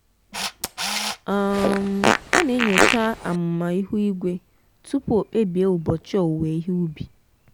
um ọ na-enyocha amụma ihu igwe tupu ọ kpebie ụbọchị owuwe ihe ubi.